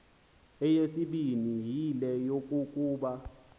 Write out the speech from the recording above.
eyesibini yile yokokuba